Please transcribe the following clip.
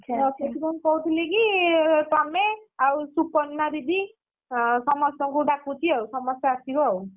ତ ସେଥିପାଇଁ କହୁଥିଲିକି ତମେ ଆଉ ସୁପର୍ଣ୍ଣା ଦିଦି ଅ ସମସ୍ତଙ୍କୁ ଡାକୁଛି ଆଉ ସମସ୍ତେ ଆସିବ ଆଉ।